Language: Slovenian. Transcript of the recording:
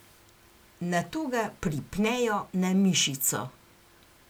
Nato ga pripnejo na mišico.